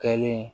Kɛlen